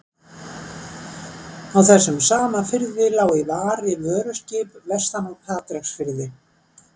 Á þessum sama firði lá í vari vöruskip vestan af Patreksfirði.